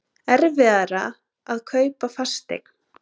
Erfiðara að kaupa fasteign